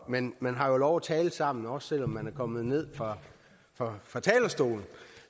men man har jo lov tale sammen også selv om man er kommet ned fra talerstolen